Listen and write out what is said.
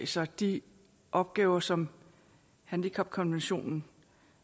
sig de opgaver som handicapkonventionen